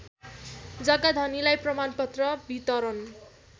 जग्गाधनीलाई प्रमाणपत्र वितरण